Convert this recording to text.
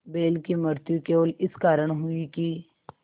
बैल की मृत्यु केवल इस कारण हुई कि